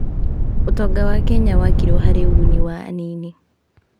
ũtonga wa Kenya wakirwo harĩ ũguni wa anini.